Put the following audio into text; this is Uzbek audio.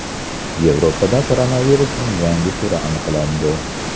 Yevropada koronavirusning yangi turi aniqlandi.